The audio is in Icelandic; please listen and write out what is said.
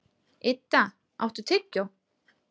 Idda, áttu tyggjó?